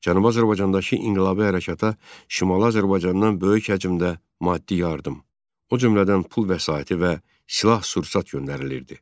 Cənubi Azərbaycandakı inqilabi hərəkata Şimali Azərbaycandan böyük həcmdə maddi yardım, o cümlədən pul vəsaiti və silah-sursat göndərilirdi.